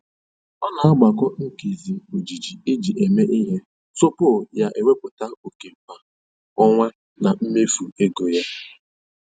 Ọ na-agbakọ nkezi ojiji eji eme ihe tupu ya ewepụta oke kwa ọnwa na mmefu ego ya.